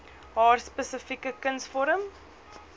haar spesifieke kunsvorm